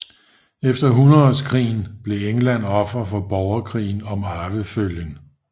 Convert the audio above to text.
Efter hundredeårskrigen blev England offer for borgerkrigen om arvefølgen